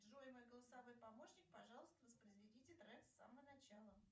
джой мой голосовой помощник пожалуйста воспроизведите трек с самого начала